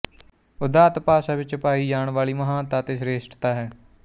ਉਦਾਤੱ ਭਾਸ਼ਾ ਵਿੱਚ ਪਾਈ ਜਾਣ ਵਾਲੀ ਮਹਾਨਤਾ ਅਤੇ ਸਰੇਸ਼ਟਤਾ ਹੈ